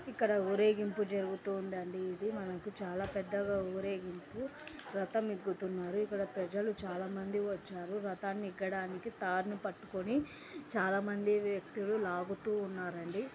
ఇక్కడ ఊరేగింపు జరుగుతూ ఉందండీ. ఇది మనకు చాలా పెద్దగా ఊరేగింపు రథం ఎక్కుతున్నారు . ఇక్కడ ప్రజలు చాలా మంది వచ్చారు .రథాన్ని ఎక్కడానికి తాడుని పట్టుకుని చాలా మంది వ్యక్తులు లాగుతూ ఉన్నారండి.